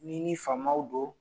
N'i ni famw don